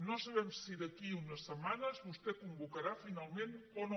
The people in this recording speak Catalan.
no sabem si d’aquí a unes setmanes vostè convocarà finalment o no